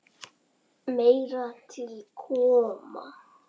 Meira til koma.